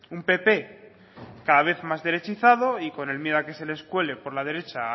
un pp cada vez más derechizado y con el miedo a que se les cuele por la derecha a